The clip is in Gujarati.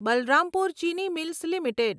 Balrampur Chini mills limited